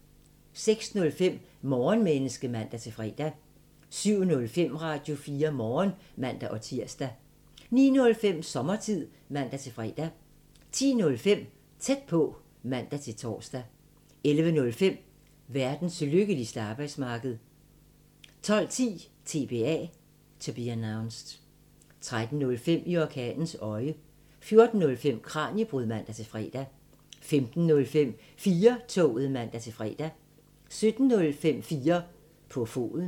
06:05: Morgenmenneske (man-fre) 07:05: Radio4 Morgen (man-tir) 09:05: Sommertid (man-fre) 10:05: Tæt på (man-tor) 11:05: Verdens lykkeligste arbejdsmarked 12:10: TBA 13:05: I orkanens øje 14:05: Kraniebrud (man-fre) 15:05: 4-toget (man-fre) 17:05: 4 på foden